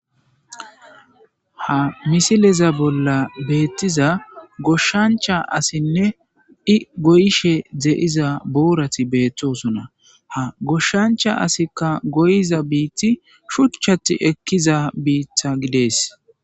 ha misileza bolla beettiza goshshancha asinne i goyshe dze7iza boorati beettosona ha goshshancha asikka goyiza biitti shuchchati ekkiza biitha gidees